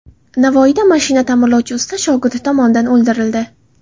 Navoiyda mashina ta’mirlovchi usta shogirdi tomonidan o‘ldirildi.